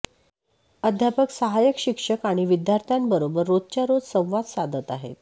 अध्यापक सहाय्यक शिक्षक आणि विद्यार्थ्यांबरोबर रोजच्यारोजं संवाद साधत आहेत